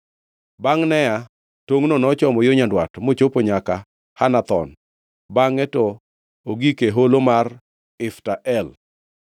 Bangʼ Nea, tongʼno nochomo yo nyandwat mochopo nyaka Hanathon bangʼe to ogik e holo mar Ifta El.